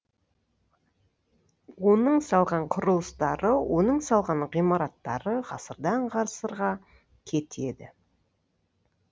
оның салған құрылыстары оның салған ғимараттары ғасырдан ғасырға кетеді